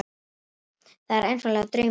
Það er einfaldlega draumsýn.